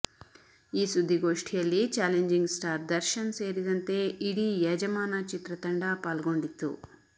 ಈ ಸುದ್ದಿಗೋಷ್ಠಿಯಲ್ಲಿ challenging star Darshan ಸೇರಿದಂತೆ ಇಡೀ ಯಜಮಾನ ಚಿತ್ರತಂಡ ಪಾಲ್ಗೊಂಡಿತ್ತು